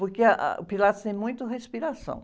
Porque, ah, ah o Pilates tem muito respiração.